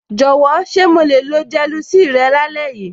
Jọ̀wọ́, ṣé mo le lo gelocin rẹ lálẹ́ yìí?